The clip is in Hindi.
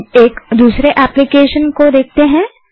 अब एक दूसरे एप्लीकेशन को देखते हैं